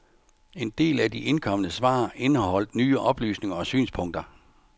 En del af de indkomne svar indeholdt nye oplysninger og synspunkter.